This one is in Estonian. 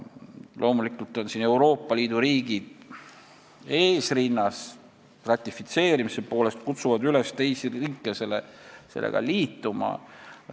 Loomulikult on Euroopa Liidu riigid ratifitseerimise poolest eesrinnas ja kutsuvad üles ka teisi riike selle konventsiooniga liituma.